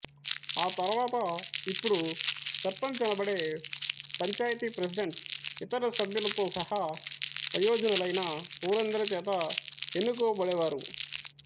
ఆ తర్వాత ఇప్పుడు సర్పంచ్ అనబడే పంచాయతీ ప్రెసిడెంట్ ఇతర సభ్యులతో సహా వయోజనులైన ఊరందరిచేత ఎన్నుకోబడేవారు